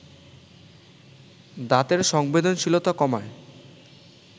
দাঁতের সংবেদনশীলতা কমায়